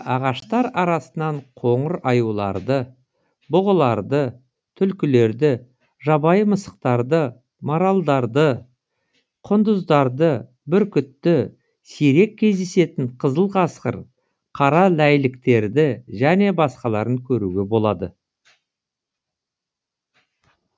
ағаштар арасынан қоңыр аюларды бұғыларды түлкілерді жабайы мысықтарды маралдарды құндыздарды бүркітті сирек кездесетін қызыл қасқыр қара ләйліктерді және басқаларын көруге болады